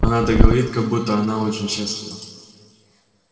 она так говорит как будто она очень счастлива